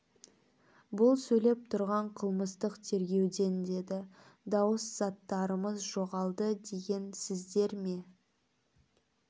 бұл сөйлеп тұрған қылмыстық тергеуден деді дауыс заттарымыз жоғалды деген сіздер ме